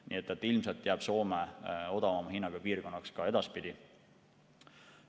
Nii et ilmselt jääb Soome odavama hinnaga piirkonnaks ka edaspidi.